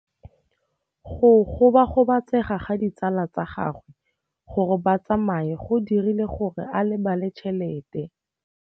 Go gobagobetsa ga ditsala tsa gagwe, gore ba tsamaye go dirile gore a lebale tšhelete.